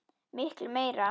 Miklu meira.